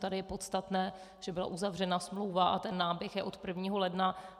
Tady je podstatné, že byla uzavřena smlouva a ten náběh je od 1. ledna.